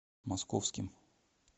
московским